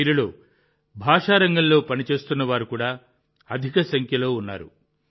వీరిలో భాషా రంగంలో పనిచేస్తున్న వారు కూడా అధిక సంఖ్యలో ఉన్నారు